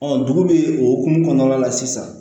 dugu bɛ okumu kɔnɔna la sisan